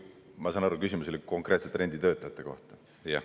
Ma saan aru, et küsimus oli konkreetselt renditöötajate kohta.